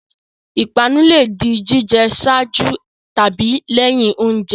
Ìpanu le di jíjẹ ṣáájú tàbí lẹ́yìn oúnjẹ.